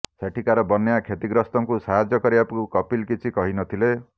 ସେଠିକାର ବନ୍ୟା କ୍ଷତିଗ୍ରସ୍ତଙ୍କୁ ସାହାଯ୍ୟ କରିବାକୁ କପିଲ୍ କିଛି କହି ନଥିଲେ